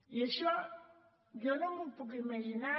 i això jo no m’ho puc imaginar